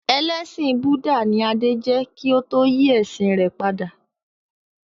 Ẹlẹsin Búdà ni Adé jẹ́ kí ó tó yí ẹ̀sìn rẹ̀ padà